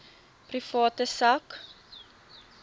private sak